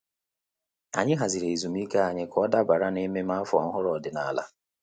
Ànyị hàzị̀rị̀ ezumike ànyị kà ọ́ dàbàrà na mmemme áfọ́ ọ́hụ́rụ́ ọ́dị́nála.